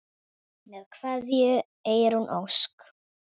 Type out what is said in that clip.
Með kveðju, Eyrún Ósk.